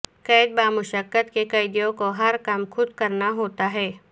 قید بامشقت کے قیدیوں کو ہر کام خود کرنا ہوتا ہے